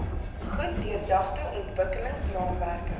goed deurdagte ontwikkelingsraamwerke